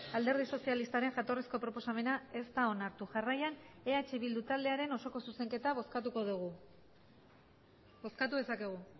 alderdi sozialistaren jatorrizko proposamena ez da onartu jarraian eh bildu taldearen osoko zuzenketa bozkatuko dugu bozkatu dezakegu